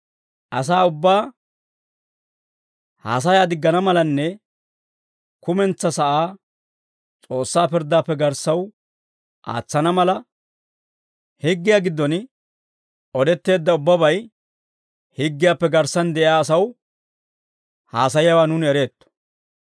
Asaa ubbaa haasayaa diggana malanne kumentsaa sa'aa S'oossaa pirddaappe garssaw aatsana mala, higgiyaa giddon odetteedda ubbabay higgiyaappe garssan de'iyaa asaw haasayiyaawaa nuuni ereetto.